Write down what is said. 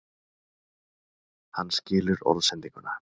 Hann skilur orðsendinguna.